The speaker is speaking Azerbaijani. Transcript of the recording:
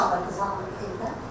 Kim çağırdı qızı evdən?